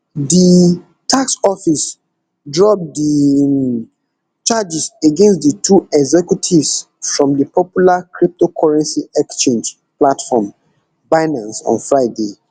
di tax office drop di um charges against di two executives from di popular cryptocurrency exchange platform binance on friday